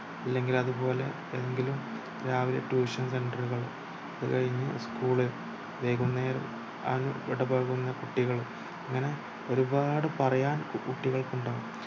ഇല്ലെങ്കിൽ അതുപോലെ ഏതെങ്കിലും രാവിലെ tuition center കൾ അത് കഴിഞ്ഞു ഉസ്കൂൾ വൈകുന്നേരം വിടവാങ്ങുന്നു കുട്ടികൾ അങ്ങനെ ഒരുപാടു പറയാൻ കുട്ടികൾക്കുണ്ടാവും